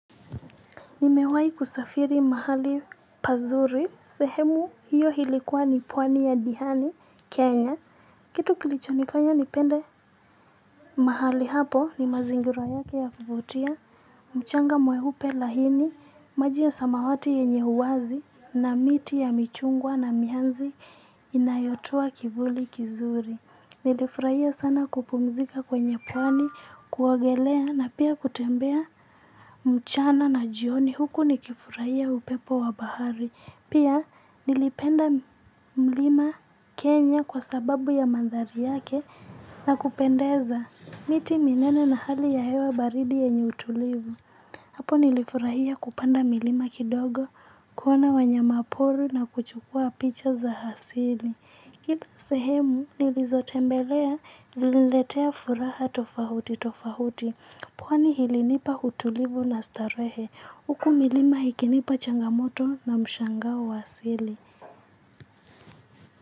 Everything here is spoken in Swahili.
Nimewai kusafiri mahali pazuri, sehemu hiyo hilikuwa ni pwani ya Dihani, Kenya. Kitu kilicho nifanya nipende mahali hapo ni mazingira yake yakuvutia. Mchanga mweupe lahini, maji ya samawati yenye huwazi na miti ya michungwa na mianzi inayotoa kivuli kizuri. Nilifurahia sana kupumzika kwenye pwani, kuogelea na pia kutembea mchana na jioni. Huku ni kifurahia upepo wa bahari. Pia nilipenda mlima Kenya kwa sababu ya mandhari yake na kupendeza. Miti minene na hali ya hewa baridi yenye utulivu. Hapo nilifurahia kupanda milima kidogo. Kuona wanyama pori na kuchukuwa picha za hasili. Kila sehemu nilizotembelea ziliniletea furaha tofahuti tofahuti. Pwani hilinipa utulivu na starehe. Uku milima ikinipa changamoto na mshangao wa asili.